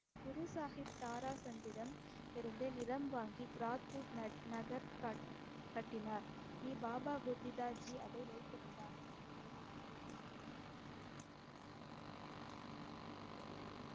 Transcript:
குரு சாஹிப் தாராசந்திடமிருந்து நிலம் வாங்கி கிராத்பூர் ந~ நகர் கட்~ கட்டினார். நீ பாபா புத்திதாஜி அதை வைத்திருந்தார்.